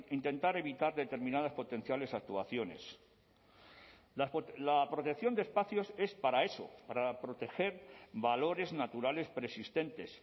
intentar evitar determinadas potenciales actuaciones la protección de espacios es para eso para proteger valores naturales preexistentes